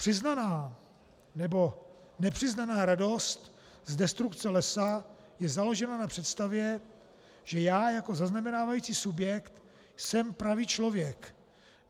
Přiznaná nebo nepřiznaná radost z destrukce lesa je založena na představě, že já jako zaznamenávající subjekt jsem pravý člověk.